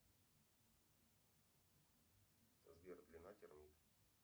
сбер длина термита